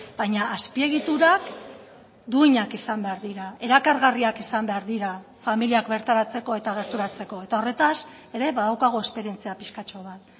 baina azpiegiturak duinak izan behar dira erakargarriak izan behar dira familiak bertaratzeko eta gerturatzeko eta horretaz ere badaukagu esperientzia piskatxo bat